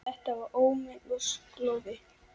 Þetta var ómenni og slóði.